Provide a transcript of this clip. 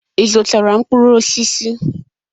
Ị zụtara mkpụrụ osisi?